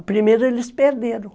A primeira eles perderam.